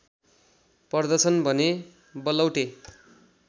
पर्दछन् भने बलौटे